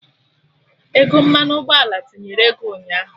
Ego mmanụ ụgbọala tinyere ego ụnyaahụ